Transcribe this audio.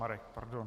Marek, pardon.